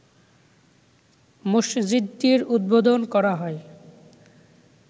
মসজিদটির উদ্বোধন করা হয়